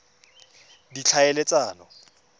ditlhaeletsano